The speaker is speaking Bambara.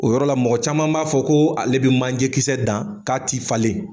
O yɔrɔ la mɔgɔ caman b'a fɔ koo ale be manje kisɛ dan k'a ti falen.